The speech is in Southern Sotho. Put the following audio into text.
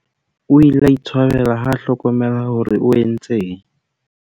o ile a itshwabela ha a hlokomela hore o entseng